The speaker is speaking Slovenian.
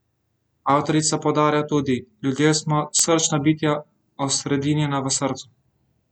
Avtorica poudarja tudi: 'Ljudje smo srčna bitja, osredinjena v srcu.